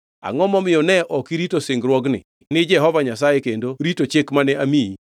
Angʼo momiyo ne ok irito singruokni ni Jehova Nyasaye kendo rito chik mane amiyi?”